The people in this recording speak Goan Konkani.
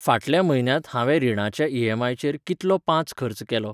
फाटल्या म्हयन्यांत हांवें रिणाच्या ईएमआयचेर कितलो पांच खर्च केलो?